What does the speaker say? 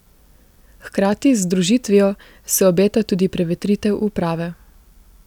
Hkrati z združitvijo se obeta tudi prevetritev uprave.